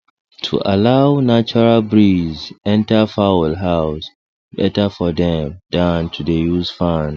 to allow natural breeze enter fowl house better for dem dan to dey use fan